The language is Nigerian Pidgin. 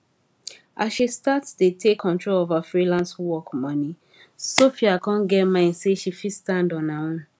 as she start dey take control of her freelance work money sophia con get mind say she fit stand on her own